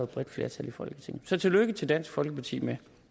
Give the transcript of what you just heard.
bredt flertal i folketinget så tillykke til dansk folkeparti med